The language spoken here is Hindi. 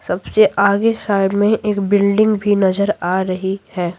सबसे आगे साइड में एक बिल्डिंग भी नजर आ रही है।